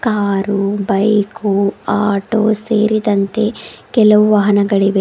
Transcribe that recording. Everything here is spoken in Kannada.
ಆರು ಬೈಕು ಆಟೋ ಸೇರಿದಂತೆ ಕೆಲವು ವಾಹನಗಳಿವೆ.